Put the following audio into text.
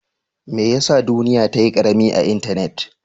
Mai ya sa duniyya'n ta yi karemi a'intenet?